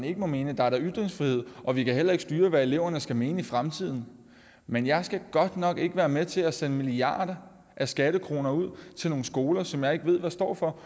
ikke må mene der er da ytringsfrihed og vi kan heller ikke styre hvad eleverne skal mene i fremtiden men jeg skal godt nok ikke være med til at sende milliarder af skattekroner ud til nogle skoler som jeg ikke ved hvad står for